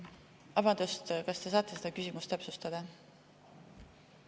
Vabandust, kas te saate seda küsimust täpsustada?